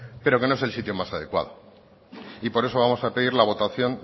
pero que no es el sitio más adecuado y por eso vamos a pedir la votación